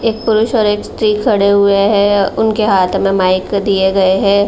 एक पुरुष और एक स्त्री खड़े हुए हैं। उनके हाथ में माइक दिए गए हैं।